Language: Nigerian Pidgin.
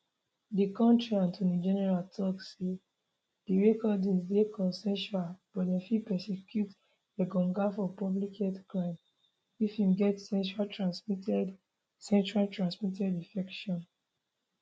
di kontri attorney general tok say di recordings dey consensual but dem fit prosecute engonga for public health crimes if im get sexuallytransmitted sexuallytransmitted infection